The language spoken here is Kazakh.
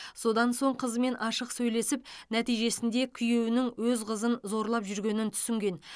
содан соң қызымен ашық сөйлесіп нәтижесінде күйеуінің өз қызын зорлап жүргенін түсінген